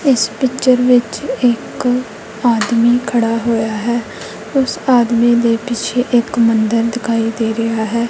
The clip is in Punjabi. ਇਸ ਪਿਕਚਰ ਵਿੱਚ ਇਕ ਆਦਮੀ ਖੜਾ ਹੋਇਆ ਹੈ ਉਸ ਆਦਮੀ ਦੇ ਪਿੱਛੇ ਇਕ ਮੰਦਿਰ ਦਿਖਾਈ ਦੇ ਰਿਹਾ ਹੈ।